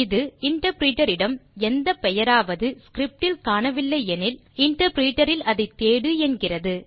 இது இன்டர்பிரிட்டர் இடம் எந்த பெயராவது ஸ்கிரிப்ட் இல் காணவில்லை எனில் இன்டர்பிரிட்டர் இல் அதை தேடு என்கிறது